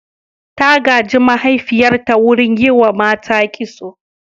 Ta gaji mahaifiyarta wurin yi wa mata kitso.